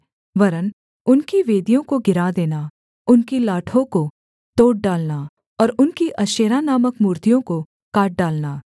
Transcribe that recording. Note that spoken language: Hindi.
वरन् उनकी वेदियों को गिरा देना उनकी लाठों को तोड़ डालना और उनकी अशेरा नामक मूर्तियों को काट डालना